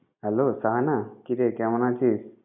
Hello Shahana, কিরে কেমন আছিস?